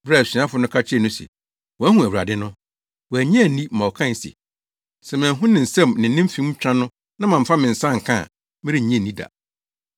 Bere a asuafo no ka kyerɛɛ no se, “Wɔahu Awurade no!” Wannye anni ma ɔkae se, “Sɛ manhu ne nsam ne ne mfem twa no na mamfa me nsa anka a, merennye nni da.”